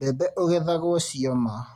Mbembe ũgethagwo cioma.